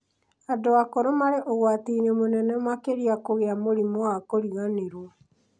andũ akũrũ marĩ ũgwati-inĩ mũnene makĩria kũgĩa mũrimũ wa kũriganĩrwo